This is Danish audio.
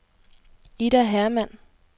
Ida Hermann